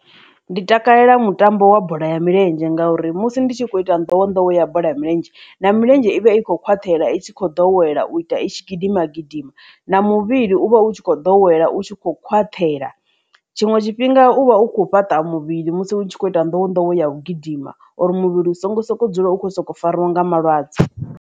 Ndi takalela mutambo wa bola ya milenzhe ngauri musi ndi tshi kho ita nḓowenḓowe ya bola ya milenzhe na milenzhe ivha i kho khwaṱhela i tshi kho ḓowela u ita itshi gidima gidima na muvhili u vha u tshi kho ḓowela u tshi kho khwaṱhela tshiṅwe tshifhinga u vha u khou fhaṱa muvhili musi hu tshi khou ita nḓowenḓowe ya u gidima uri muvhili u songo soko dzula u kho soko farwa nga malwadze.